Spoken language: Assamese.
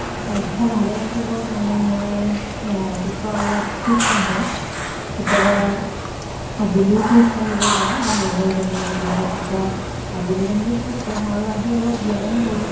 স্বাস্থ্য় ভালে ৰাখিবৰ কাৰণে মই এহ ৰাতিপুৱা অলপ খোজ কাঢ়ো। কেতিয়াবা আবেলিও খোজ কাঢ়িব যাওঁ মোৰ লগৰ জনীৰ লগত ৰাতিপুৱা আবেলি তেনেকে খোজ কাঢ়ো আৰু আহি অলপ ব্য়ায়াম কৰোঁ।